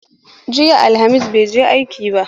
Jiya Alhamis ban je aiki ba.